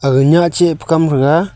aga nyah che pa kam threga.